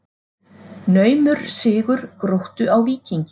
Naumur sigur Gróttu á Víkingi